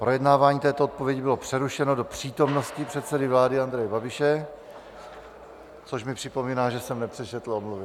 Projednávání této odpovědi bylo přerušeno do přítomnosti předsedy vlády Andreje Babiše - což mi připomíná, že jsem nepřečetl omluvy.